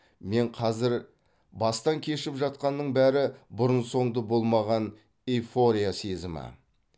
мен қазір бастан кешіп жатқанның бәрі бұрын соңды болмаған эйфория сезімі